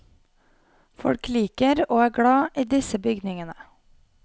Folk liker og er glad i disse bygningene.